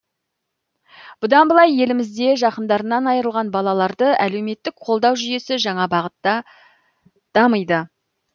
бұдан былай елімізде жақындарынан айырылған балаларды әлеуметтік қолдау жүйесі жаңа бағытта дамиды